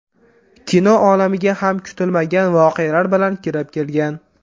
Kino olamiga ham kutilmagan voqealar bilan kirib kelgan.